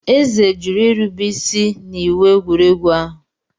Eze jụrụ irube isi n'iwu egwuregwu ahụ.